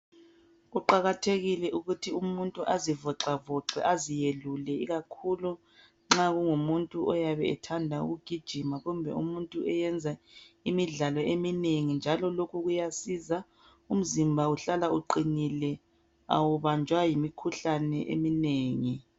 Kuqakathekile ukuthi umuntu azivoxavoxe aziyelule ikakhulu nxa kungumuntu oyabe ethanda ukugijima kumbe umuntu oyenza imidlalo eminengi njalo lokhu kuyasiza umzimba uhlala uqinile awubanjwa yimikhuhlane eminengi.